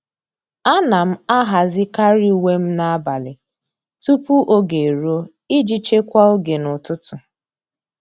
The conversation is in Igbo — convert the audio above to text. À nà m àhàzị́karị uwe m n’ábàlị̀ tupu ógè érúọ iji chekwaa oge n’ụ́tụ́tụ́.